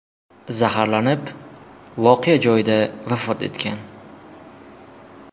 zaharlanib, voqea joyida vafot etgan.